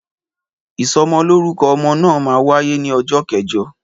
Ìsọmọlórúkọ ọmọ náà máa wáyé ní ọjọ́ kẹjọ